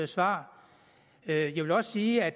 svar jeg vil også sige at